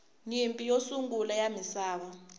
nyimpi yo sungula ya misava